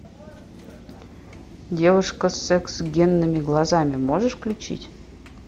девушка с секс генными глазами можешь включить